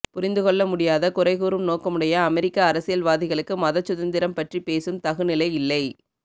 புரிந்து கொள்ள முடியாத குறைகூறும் நோக்கமுடைய அமெரிக்க அரசியல்வாதிகளுக்கு மதச் சுதந்திரம் பற்றி பேசும் தகுநிலை இல்லை